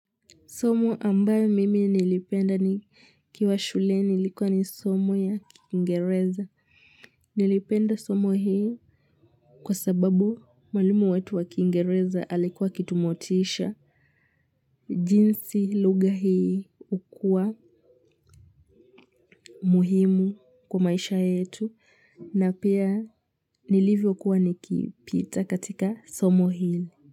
Somo ambayo mimi nilipenda nikiwa shule ilikuwa ni somo ya kiingereza. Nilipenda somo hii kwa sababu mwalimu wetu wa kiingereza alikuwa akitumotisha. Jinsi lugha hii hukuwa muhimu kwa maisha yetu na pia nilivyokuwa nikipita katika somo hili.